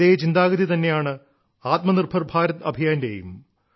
ഇതേ ചിന്താഗതി തന്നെയാണ് ആത്മനിർഭർ ഭാരത് അഭിയാന്റെയും